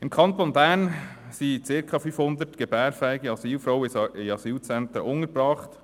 Im Kanton Bern sind circa 500 gebärfähige Asylbewerberinnen in Asylzentren untergebracht.